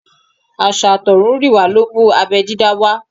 Àṣà àtọ̀húnrìnwá ló mú abẹ́ dídá wá.